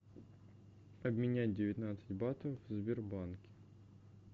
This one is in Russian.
обменять девятнадцать батов в сбербанке